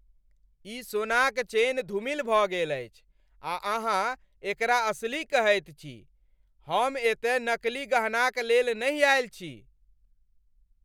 ई सोनाक चेन धूमिल भऽ गेल अछि आ अहाँ एकरा असली कहैत छी? हम एतय नकली गहनाक लेल नहि आएल छी!